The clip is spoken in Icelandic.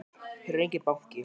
Hér er enginn banki!